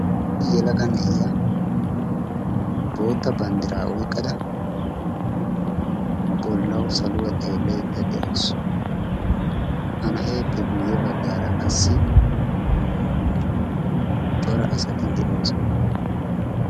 issi yalaga na'iya bootta banddiraa oyqqada bollawu saluwaa xeellaydda de'awusu ha na'eeppe guyye baggaara qassi cora asatiddi oosana